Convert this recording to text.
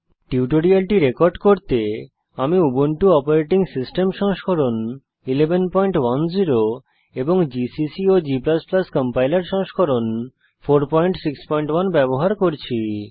টিউটোরিয়ালটি রেকর্ড করতে আমি উবুন্টু অপারেটিং সিস্টেম সংস্করণ 1110 এবং জিসিসি এবং g কম্পাইলার সংস্করণ 461 ব্যবহার করছি